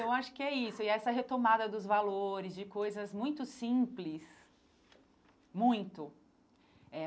Eu acho que é isso, e essa retomada dos valores, de coisas muito simples, muito eh.